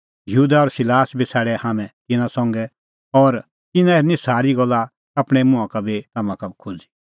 यहूदा और सिलास बी छ़ाडै हाम्हैं तिन्नां संघै और तिन्नां हेरनी सारी गल्ला आपणैं मुंहां का बी तम्हां का खोज़ी